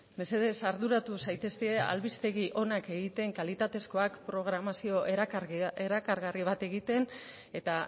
mesedez arduratu zaitezte albistegi onak egiten kalitatezkoak programazio erakargarri bat egiten eta